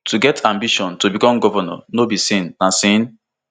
to get ambition to become govnor no be sin na sin